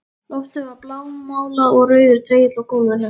Loftið var blámálað og rauður dregill á gólfinu.